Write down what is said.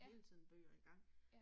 Ja. Ja